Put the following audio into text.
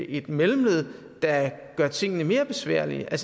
et mellemled der gør tingene mere besværlige jeg er